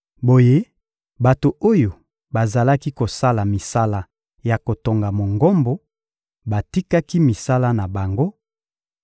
Boye bato oyo bazalaki kosala misala ya kotonga Mongombo batikaki misala na bango